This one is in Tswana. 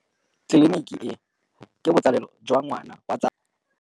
Tleliniki e, ke botsalêlô jwa ngwana wa tsala ya me Tshegofatso.